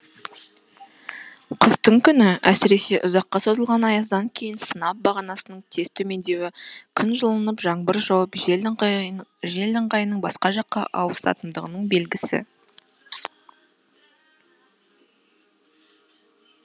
қыстың күні әсіресе ұзаққа созылған аяздан кейін сынап бағанасының тез төмендеуі күн жылынып жаңбыр жауып жел ыңғайының басқа жаққа ауысатындығының белгісі